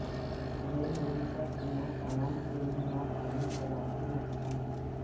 جیہ للیتا کی موت عوام کے لئے ناقابل تلافی نقصان